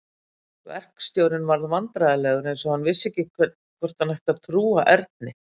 Verkstjórinn varð vandræðalegur eins og hann vissi ekki hvort hann ætti að trúa Erni.